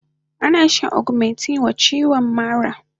Ana shan augmentin wa chiwon ciwon maɗamfari